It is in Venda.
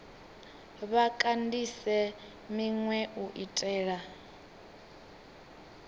vha kandise minwe u itela